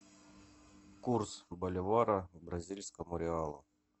курс боливара к бразильскому реалу